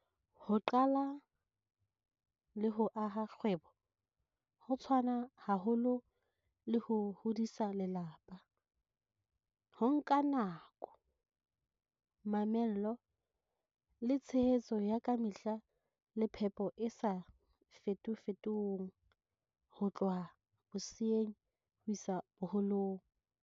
Ho qala le ho aha kgwebo ho tshwana haholo le ho hodisa lelapa. Ho nka nako, mamello, le tshehetso ya kamehla le phepo e sa fetofetong ho tloha boseyeng ho isa boholong.